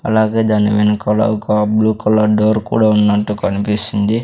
అలాగే దానివెనకాల ఒక బ్లూ కలర్ డోర్ కూడా ఉన్నట్టు కనిపిస్తుంది.